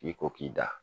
I ko k'i da